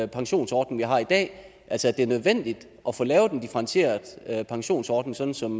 pensionsordning vi har i dag altså at det er nødvendigt at få lavet en differentieret pensionsordning sådan som